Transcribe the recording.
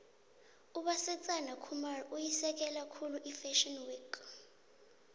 ubasetsana khumalo uyisekela khulu ifashio week